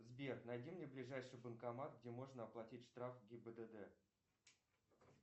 сбер найди мне ближайший банкомат где можно оплатить штраф гибдд